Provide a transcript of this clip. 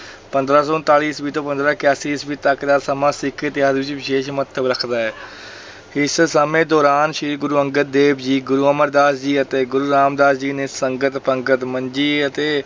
ਪੰਦਰਾਂ ਸੌ ਉਣਤਾਲੀ ਈਸਵੀ ਤੋਂ ਪੰਦਰਾਂ ਇਕਆਸੀ ਈਸਵੀ ਤੱਕ ਦਾ ਸਮਾ ਸਿੱਖ ਇਤਿਹਾਸ ਵਿੱਚ ਵਿਸ਼ੇਸ਼ ਮਹੱਤਵ ਰੱਖਦਾ ਹੈ ਇਸ ਸਮੇ ਦੌਰਾਨ ਸ੍ਰੀ ਗੁਰੂ ਅੰਗਦ ਦੇਵ ਜੀ, ਗੁਰੂ ਅਮਰਦਾਸ ਜੀ ਅਤੇ ਗੁਰੂ ਰਾਮਦਾਸ ਜੀ ਨੇ ਸੰਗਤ, ਪੰਗਤ, ਮੰਜੀ ਅਤੇ